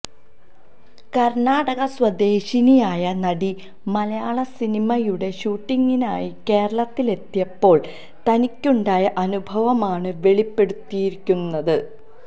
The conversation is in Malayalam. കര്ണാടക സ്വദേശിനിയായ നടി മലയാള സിനിമയുടെ ഷൂട്ടിംഗിനായി കേരളത്തിലെത്തിയപ്പോള് തനിക്കുണ്ടായ അനുഭവമാണ് വെളിപ്പെടുത്തിയിരിക്കുന്നത്